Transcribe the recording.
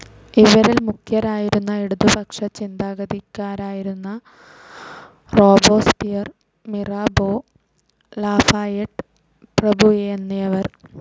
ഇവരിൽ മുഖ്യരായിരുന്നു ഇടത്പക്ഷ ചിന്താഗതിക്കാരായിരുന്ന റോബോസ്പിയർ, മിറാബോ, ലാഫായെട്ട് പ്രഭുയെന്നിവർ.